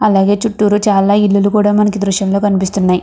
అలాగే చుతూరు చాలా ఇలులు కూడా మనకి దృశ్యంలో కనిపిస్తునాయి.